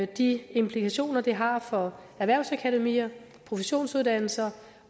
de implikationer det har for erhvervsakademier professionsuddannelser